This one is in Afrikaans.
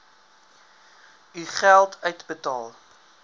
u geld uitbetaal